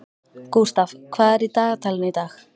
Gústaf, hvað er í dagatalinu í dag?